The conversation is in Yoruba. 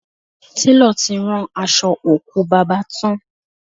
Télọ̀ ti rán aṣọ òkú bàbá tán